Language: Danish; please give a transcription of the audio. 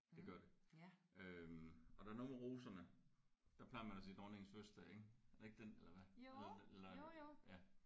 Det gør det øh og der er nogen roserne der plejer man at sige dronningens fødselsdag ik er det ikke den eller hvad eller eller ja